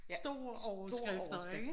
Store overskrifter ikke?